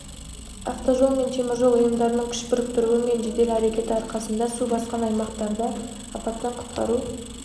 автожол мен теміржол ұйымдарының күш біріктіруі мен жедел әрекеті арқасында су басқан аймақтарда апаттан құтқару